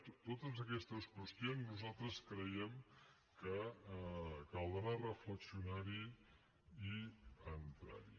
en totes aquestes qüestions nosaltres creiem que caldrà reflexionar hi i entrar hi